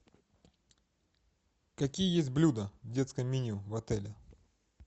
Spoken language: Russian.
какие есть блюда в детском меню в отеле